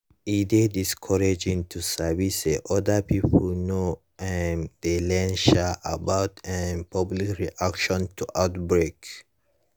e dey discouraging to sabi say other pipo no um dey learn um about um public reaction to outbreak